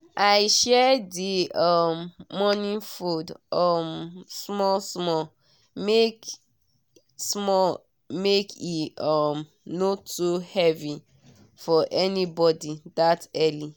i share the um morning food um small small make small make e um no too heavy for anybody that early.